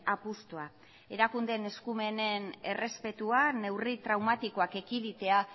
apustua erakundeen eskumenen errespetua neurri traumatikoak ekiditea